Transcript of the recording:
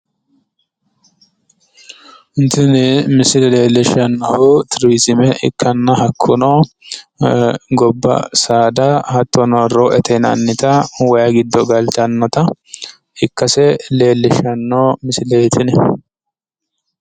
Tini misile leellishshannohu turiziime ikkanna hakkuno gobba saada hattono rooete yinannita wayi giddo galtannota ikkase leellishshanno misileeti tini.